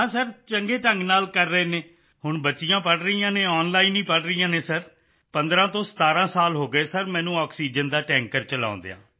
ਹਾਂ ਸਰ ਚੰਗੇ ਢੰਗ ਨਾਲ ਕਰ ਰਹੇ ਹਨ ਹੁਣ ਬੱਚੀਆਂ ਪੜ੍ਹ ਰਹੀਆਂ ਹਨ ਆਨਲਾਈਨ ਵਿੱਚ ਹੀ ਪੜ੍ਹ ਰਹੀਆਂ ਹਨ ਸਰ 15 ਤੋਂ 17 ਸਾਲ ਹੋ ਗਏ ਸਰ ਮੈਨੂੰ ਆਕਸੀਜਨ ਦਾ ਟੈਂਕਰ ਚਲਾਉਂਦਿਆਂ